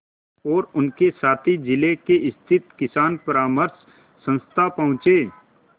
और उनके साथी जिले में स्थित किसान परामर्श संस्था पहुँचे